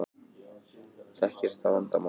Þekkist þetta vandamál í öðrum löndum?